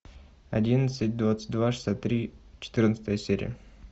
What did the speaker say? одиннадцать двадцать два шестьдесят три четырнадцатая серия